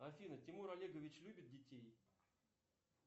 афина тимур олегович любит детей